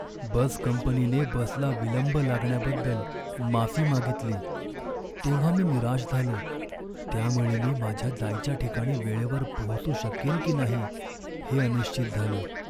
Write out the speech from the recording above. बस कंपनीने बसला विलंब लागण्याबद्दल माफी मागितली तेव्हा मी निराश झालो, त्यामुळे मी माझ्या जायच्या ठिकाणी वेळेवर पोहोचू शकेन की नाही हे अनिश्चित झालं.